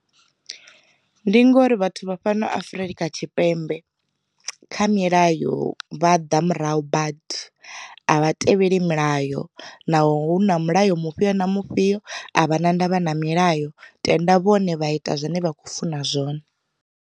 Ndi ngori vhathu vha fhano Afurika Tshipembe, kha milayo vha ḓa murahu badi. A vha tevheli milayo na ho hu na mulayo mufhio na mufhio a vha na ndavha na milayo tenda vhone vha ita zwine vha khou funa zwone.